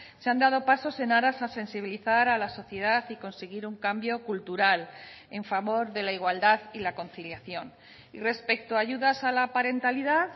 se han dado pasos en aras a sensibilizar a la sociedad y conseguir un cambio cultural en favor de la igualdad y la conciliación y respecto a ayudas a la parentalidad